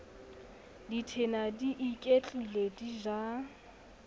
dithena di iketlile di ja